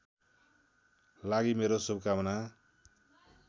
लागि मेरो शुभकामना